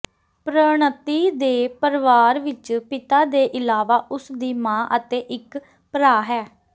ਪ੍ਰਣਤੀ ਦੇ ਪਰਵਾਰ ਵਿੱਚ ਪਿਤਾ ਦੇ ਇਲਾਵਾ ਉਸਦੀ ਮਾਂ ਅਤੇ ਇੱਕ ਭਰਾ ਹੈ